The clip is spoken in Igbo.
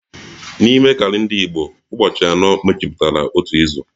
N'ime kalenda Igbo, ụbọchị anọ mejupụtara otu izu